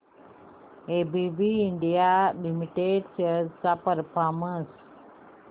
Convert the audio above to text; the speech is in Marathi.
एबीबी इंडिया लिमिटेड शेअर्स चा परफॉर्मन्स